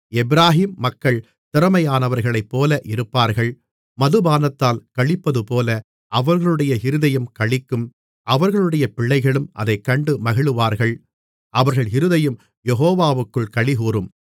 எப்பிராயீம் மக்கள் திறமையானவர்களைப்போல இருப்பார்கள் மதுபானத்தால் களிப்பதுபோல அவர்களுடைய இருதயம் களிக்கும் அவர்களுடைய பிள்ளைகளும் அதைக் கண்டு மகிழுவார்கள் அவர்கள் இருதயம் யெகோவாவுக்குள் களிகூரும்